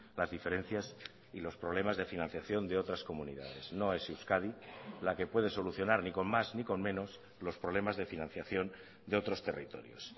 las diferencias y los problemas de financiación de otras comunidades no es euskadi la que puede solucionar ni con más ni con menos los problemas de financiación de otros territorios